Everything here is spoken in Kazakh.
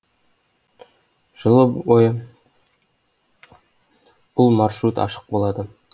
жылы бойы бұл маршрут ашық болады